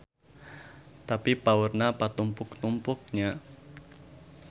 Tapi paurna patumpuk-tumpuk nya.